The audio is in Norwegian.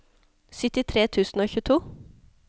syttitre tusen og tjueto